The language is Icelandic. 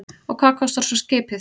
Og hvað kostar svo skipið?